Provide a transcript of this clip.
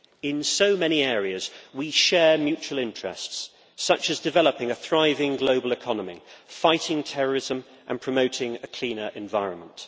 In so many areas, we share mutual interests such as developing a thriving global economy, fighting terrorism and promoting a cleaner environment.